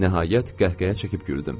Nəhayət, qəhqəhə çəkib güldüm.